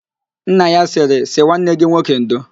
Nna ya sịrị, sị nwanne gị nwoke ndo!